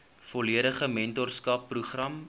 volledige mentorskap program